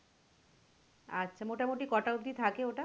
আচ্ছা মোটামটি কটা অব্দি থাকে ওটা?